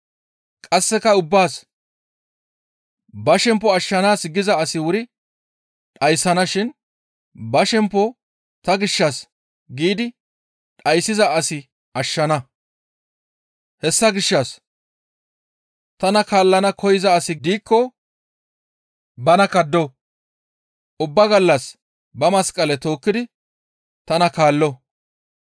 Qasseka ubbaas, «Ba shempo ashshana giza asi wuri dhayssana shin ba shempo ta gishshas giidi dhayssiza asi ashshana. Hessa gishshas tana kaallana koyza asi diikko bana kaddo; ubba gallas ba masqale tookkidi tana kaallo.